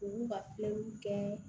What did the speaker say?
U b'u ka kɛ